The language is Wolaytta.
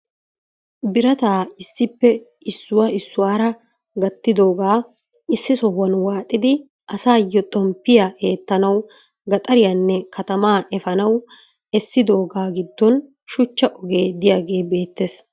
Birataa issippe issuwa issuwara gattidoogaa issi sohuwan waaxxidi asaayo xomppiya eettanawu gaxxariyanne katamaa efaanawu essidoogaa giddon shuchcha ogee diyaagee beettees.